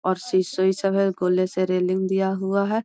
और गोले से रेलिंग बना हुआ है।